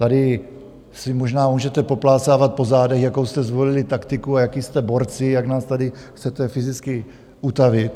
Tady se možná můžete poplácávat po zádech, jakou jste zvolili taktiku a jací jste borci, jak nás tady chcete fyzicky utavit.